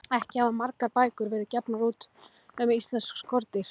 Ekki hafa margar bækur verið gefnar út um íslensk skordýr.